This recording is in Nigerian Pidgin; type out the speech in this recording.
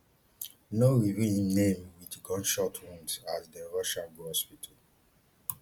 no reveal im name wit gunshot wounds as dem rush am go hospital